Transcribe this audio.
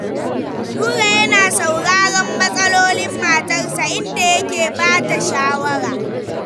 Nura yana sauraron matsalolin matarsa, inda yake ba ta shawara.